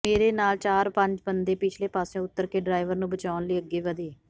ਮੇਰੇ ਨਾਲ ਚਾਰ ਪੰਜ ਬੰਦੇ ਪਿਛਲੇ ਪਾਸਿਉਂ ਉੱਤਰ ਕੇ ਡਰਾਈਵਰ ਨੂੰ ਬਚਾਉਣ ਲਈ ਅੱਗੇ ਵਧੇ